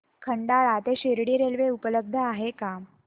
खंडाळा ते शिर्डी रेल्वे उपलब्ध आहे का